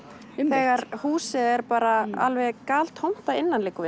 þegar húsið er bara alveg galtómt að innan liggur